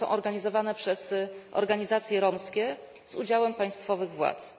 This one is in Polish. One są organizowane przez organizacje romskie z udziałem państwowych władz.